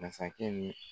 Masakɛ ni